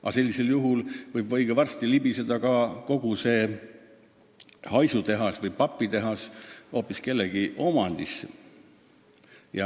Aga sellisel juhul võib õige varsti libiseda kogu see haisutehas või papitehas hoopis kellegi teise omandisse.